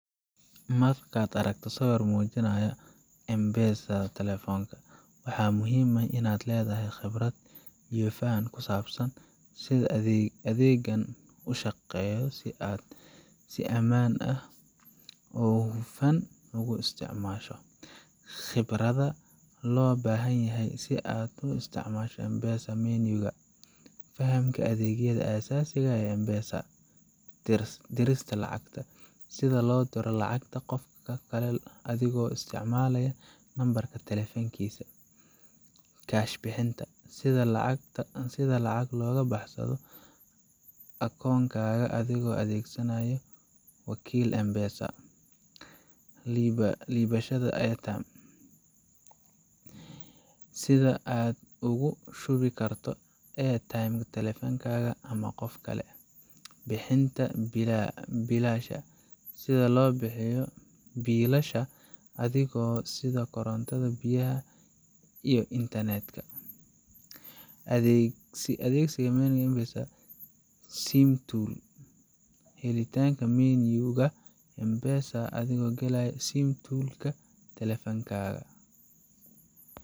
Markaad aragto sawir muujinaya M-PESA, waxaa muhiim ah in aad leedahay khibrad iyo faham ku saabsan sida adeeggan u shaqeeyo si aad si ammaan ah oo hufan ugu isticmaasho. Khibradda Loo Baahan Yahay Si Aad U Isticmaasho M-PESA Menu ga Fahamka Adeegyada Aasaasiga ah ee M-PESA Dirista Lacagta: Sida loo diro lacag qof kale adigoo isticmaalaya nambarka taleefankiisa. Kaash Bixinta: Sida lacag looga baxsado akoonkaaga adigoo adeegsanaya wakiil M-PESA. Iibsashada Airtime: Sida aad ugu shubi karto airtime taleefankaaga ama qof kale. Bixinta Biilasha: Sida loo bixiyo biilasha adeegyada sida korontada, biyaha, iyo internet-ka. Adeegsiga Menu ga M-PESA SIM Toolkit: Helitaanka menu ga M-PESA adigoo galaya SIM Toolkit ka taleefankaaga.